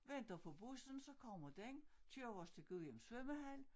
Venter på bussen så kommer den kører os til Gudhjem svømmehal